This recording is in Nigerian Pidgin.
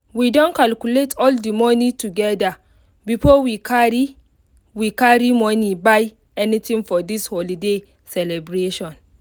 she say make we do our work this year for afternoon make everybody fit see well well